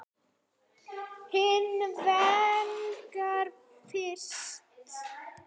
Hins vegar fannst